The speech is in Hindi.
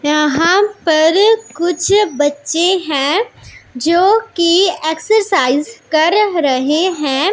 यहां पर कुछ बच्चे हैं जोकि एक्सरसाइज कर रहे हैं।